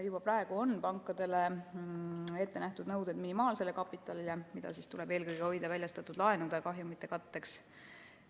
Juba praegu on pankadele ette nähtud nõuded minimaalse kapitali kohta, mida tuleb hoida eelkõige väljastatud laenude kahjumite katteks.